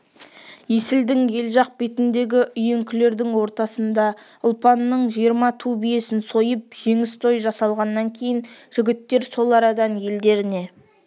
есілдің ел жақ бетіндегі үйеңкілердің ортасында ұлпанның жиырма ту биесін сойып жеңіс тойы жасалғаннан кейін жігіттер сол арадан елдеріне